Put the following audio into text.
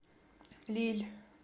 лилль